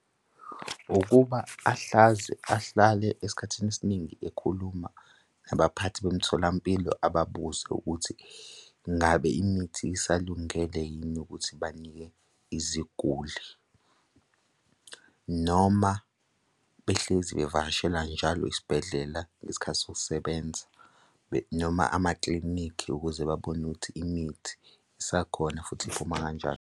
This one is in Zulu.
Ukuba ahlaze, ahlale esikhathini esiningi ekhuluma nabaphathi bomtholampilo ababuze ukuthi ngabe imithi isalungele yini ukuthi banike iziguli. Noma behlezi bevakashela njalo isibhedlela ngesikhathi sokusebenza noma amaklinikhi ukuze babone ukuthi imithi isakhona futhi iphuma kanjani.